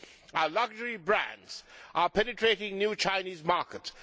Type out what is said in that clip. Our luxury brands are penetrating new Chinese markets.